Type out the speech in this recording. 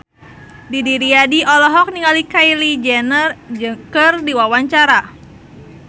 Didi Riyadi olohok ningali Kylie Jenner keur diwawancara